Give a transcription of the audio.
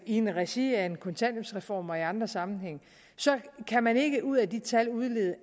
i regi af en kontanthjælpsreform og i andre sammenhænge så kan man ikke ud af de tal udlede